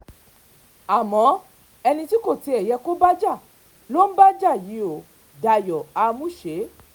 àmọ́ ẹni tí kò tiẹ̀ yẹ kó o bá jà lò ń bá jà yìí ò dayo àmuṣe